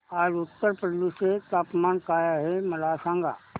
आज उत्तर प्रदेश चे तापमान काय आहे मला सांगा